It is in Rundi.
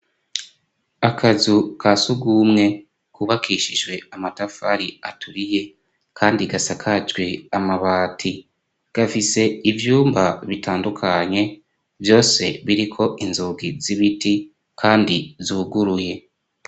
akazu ka sugumwe kubakishijwe amatafari aturiye kandi gasakajwe amabati gafise ivyumba bitandukanye byose biriko inzugi z'ibiti kandi zuguruye.